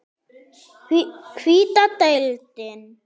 Hvíta deildin